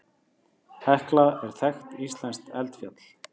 Hekla er þekkt íslenskt eldfjall.